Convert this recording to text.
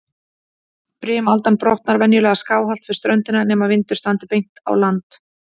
Brimaldan brotnar venjulega skáhallt við ströndina, nema vindur standi beint á land.